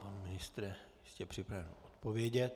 Pan ministr je připraven odpovědět.